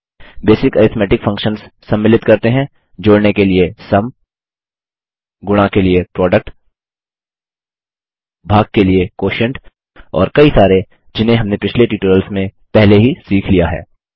basic arithmetic functions सम्मिलित करते हैं जोड़ने के लिए सुम गुणा के लिए प्रोडक्ट भाग के लिए क्वोटिएंट और कई सारे जिन्हें हमने पिछले ट्यूटोरियल्स में पहले ही सीख लिया है